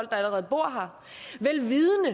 der allerede bor her